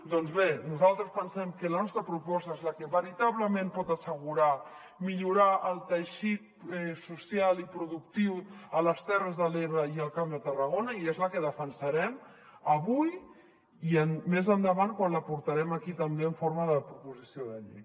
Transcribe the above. doncs bé nosaltres pensem que la nostra proposta és la que veritablement pot assegurar millorar el teixit social i productiu a les terres de l’ebre i al camp de tarragona i és la que defensarem avui i més endavant quan la portarem aquí també en forma de proposició de llei